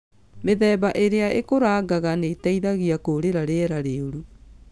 Mĩthemba ĩrĩa ĩkũrangaga nĩĩteithagia kũrĩra rĩera rĩũru.